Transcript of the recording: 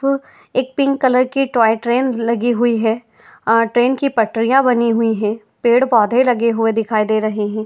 वो एक pink colour की टॉय ट्रेन लगी हुई है। ट्रेन की पटरियाँ बनी हुई हैं | पेड़ पोधे लगे हुए दिखाई दे रहे हैं।